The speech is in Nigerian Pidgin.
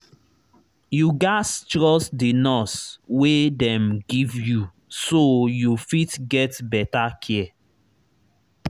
you gats trust the nurse wey dem give you so you fit get better care